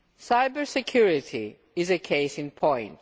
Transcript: Cyber security is a case in point.